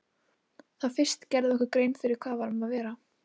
Þá fyrst gerðum við okkur grein fyrir hvað um var að vera.